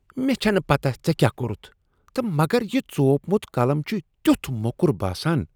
مےٚ چھنہٕ پتہ ژےٚ کیٛاہ کوٚرتھ تہٕ مگر یہ ژوپمت قلم چھ تیتھ موٚکُر باسان۔